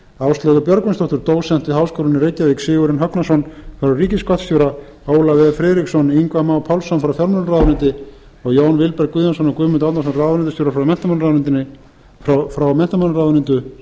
áslaugu björgvinsdóttur dósent við háskólann í reykjavík sigurjón högnason frá ríkisskattstjóra ólaf e friðriksson ingva má pálsson frá fjármálaráðuneyti og jón vilberg guðjónsson og guðmund árnason ráðuneytisstjóra frá